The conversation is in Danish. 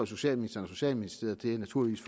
socialministeren og socialministeriet naturligvis